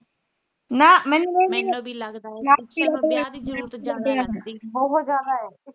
ਨਾ ਮੈਨੂੰ ਨੀ ਵੀ